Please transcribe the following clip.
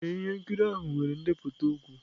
Ee, ihe nkiri ahụ nwere ndepụta okwu.